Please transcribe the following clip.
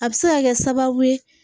A bɛ se ka kɛ sababu ye